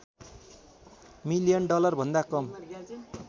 million डलरभन्दा कम